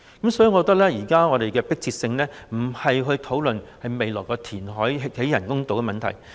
因此，我認為現在最迫切的，不是討論未來填海興建人工島的問題。